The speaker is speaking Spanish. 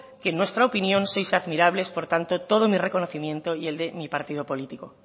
que en nuestra opinión por tanto todo mi reconocimiento y el de mi partido político